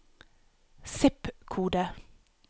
zip-kode